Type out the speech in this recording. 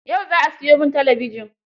Yau za a siyo min talabijin